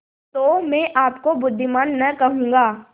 तो मैं आपको बुद्विमान न कहूँगा